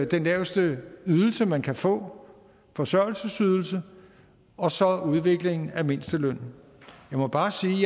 den laveste ydelse man kan få forsørgelsesydelse og så udviklingen af mindstelønnen jeg må bare sige